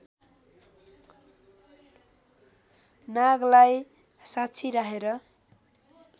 नागलाई साक्षी राखेर